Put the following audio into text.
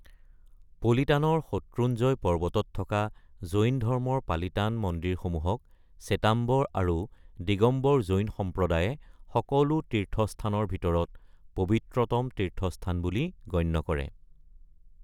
পলিতানৰ শত্ৰুঞ্জয় পৰ্বতত থকা জৈন ধৰ্মৰ পালিতান মন্দিৰসমূহক স্বেতাম্বৰ আৰু দিগম্বৰ জৈন সম্প্ৰদায়ে সকলো তীৰ্থস্থানৰ ভিতৰত পবিত্ৰতম তীৰ্থস্থান বুলি গণ্য কৰে।